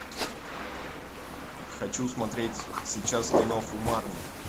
хочу смотреть сейчас киноху марни